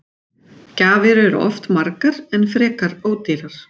Gjafir eru oft margar en frekar ódýrar.